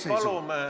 Head kolleegid!